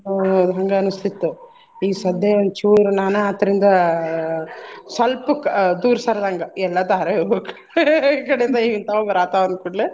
ಹ್ಮ್ ಅದ್ ಹಂಗ್ ಅನಿಸ್ತಿತ್ತು ಈಗ ಸದ್ಯೆ ಒಂದ್ ಚೂರ್ ನಾನ ಅದ್ರಿಂದ ಸ್ವಲ್ಪುಕ್ ದೂರ್ ಸರ್ದಂಗ ಎಲ್ಲಾ ಧಾರವಾಹಿಗೊಳ ಈಕಡೆಯಿಂದ ಹಿಂತಾವ ಬರಾತಾವ ಅಂದ್ಕೂಡ್ಲೆ.